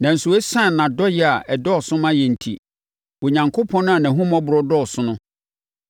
Nanso, ɛsiane nʼadɔyɛ a ɛdɔɔso ma yɛn enti, Onyankopɔn a nʼahummɔborɔ dɔɔso no